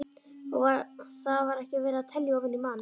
Og þar var ekki verið að telja ofan í mann.